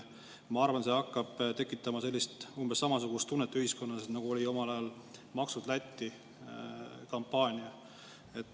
Ma arvan, et see hakkab ühiskonnas tekitama umbes samasugust tunnet, nagu oli omal ajal kampaania "Maksud Lätti" ajal.